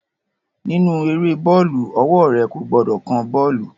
Nínú eré bọ́ọ̀lù, ọwọ́ rẹ̀ kò gbọdọ̀ kan bọ́ọ̀lù